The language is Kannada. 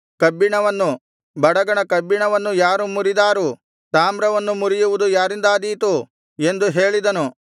ಕಬ್ಬಿಣವನ್ನು ಬಡಗಣ ಕಬ್ಬಿಣವನ್ನು ಯಾರು ಮುರಿದಾರು ತಾಮ್ರವನ್ನು ಮುರಿಯುವುದು ಯಾರಿಂದಾದೀತು ಎಂದು ಹೇಳಿದನು